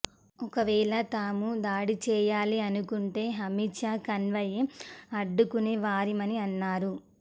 ఒకవేళ తాము దాడి చేయాలని అనుకుంటే అమిత్ షా కాన్వాయ్నే అడ్డుకునే వారిమని అన్నారు